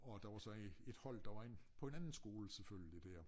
Og der var så et et hold der var inde på en anden skole selvfølgelig dér